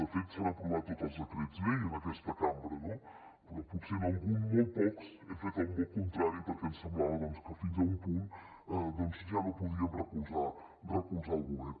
de fet s’han aprovat tots els decrets llei en aquesta cambra no però potser en algun molt pocs hem fet un vot contrari perquè ens semblava que fins a un punt doncs ja no podíem recolzar el govern